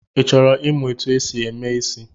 Ị chọrọ imụ etu e si eme isị̣?